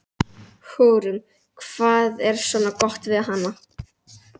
Hugrún: Hvað er svona gott við hana?